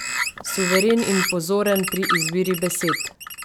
Suveren in pozoren pri izbiri besed.